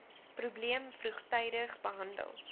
probleem vroegtydig behandel